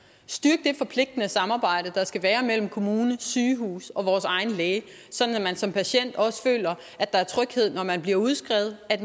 styrke det forpligtende samarbejde der skal være mellem kommune sygehus og egen læge sådan at man som patient også føler at der er tryghed når man bliver udskrevet at